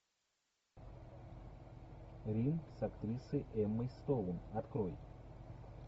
рим с актрисой эммой стоун открой